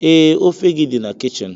Ee, ofe gị dị na kichin.